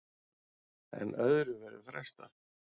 En öðru verður frestað.